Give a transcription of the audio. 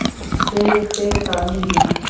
Friðrik fyrirgaf mér lygina.